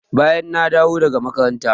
Bayan na dawo daga makaranta.